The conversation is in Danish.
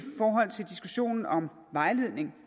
forhold til diskussionen om vejledning